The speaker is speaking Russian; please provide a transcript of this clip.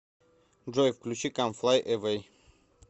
джой включи кам флай эвэй